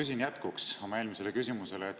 Ma küsin jätkuks oma eelmisele küsimusele.